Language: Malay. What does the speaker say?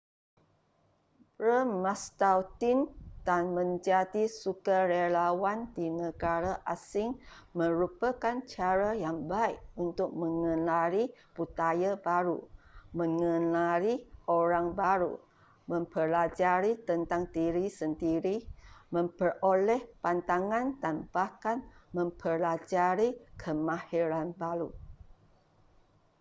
bermastautin dan menjadi sukarelawan di negara asing merupakan cara yang baik untuk mengenali budaya baru mengenali orang baru mempelajari tentang diri sendiri memperoleh pandangan dan bahkan mempelajari kemahiran baru